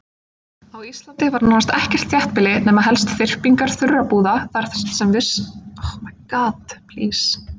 Á Íslandi var nánast ekkert þéttbýli nema helst þyrpingar þurrabúða þar sem fiskveiðar voru stundaðar.